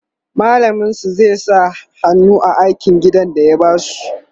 mallamin su zai sa hannu a aikin gida da ya basu